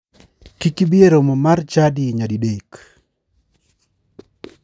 Kik ibari e romo mar chadi nyadi dek.